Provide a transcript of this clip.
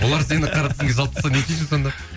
олар сені қара тізімге салып тастаса не істейсің сонда